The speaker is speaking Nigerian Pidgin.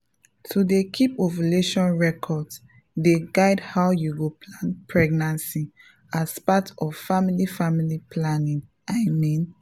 to dey keep ovulation records dey guide how you go plan pregnancy as part of family family planning i mean